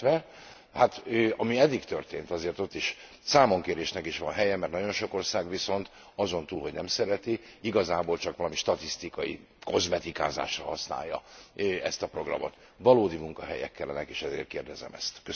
Illetve, hát ami eddig történt, azért ott számonkérésnek is van helye, mert nagyon sok ország viszont azon túl, hogy nem szereti, igazából csak valami statisztikai kozmetikázásra használja ezt a programot. Valódi munkahelyek kellene, és ezért kérdezem ezt.